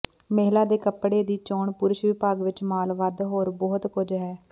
ਮਹਿਲਾ ਦੇ ਕੱਪੜੇ ਦੀ ਚੋਣ ਪੁਰਸ਼ ਵਿਭਾਗ ਵਿੱਚ ਮਾਲ ਵੱਧ ਹੋਰ ਬਹੁਤ ਕੁਝ ਹੈ